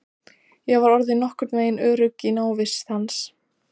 Ég var orðin nokkurnveginn örugg í návist hans.